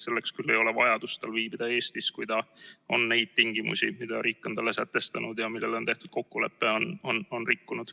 Selleks küll ei ole tal vajadust viibida Eestis, kui ta on neid tingimusi, mille riik on talle sätestanud ja milles on tehtud kokkulepe, rikkunud.